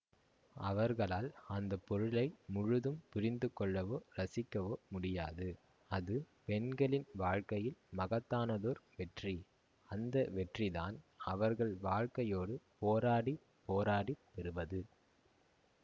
அவர்களால் அந்த பொருளை முழுதும் புரிந்துகொள்ளவோ ரசிக்கவோ முடியாது அது பெண்களின் வாழ்க்கையில் மகத்தானதோர் வெற்றி அந்த வெற்றிதான் அவர்கள் வாழ்க்கையோடு போராடி போராடி பெறுவது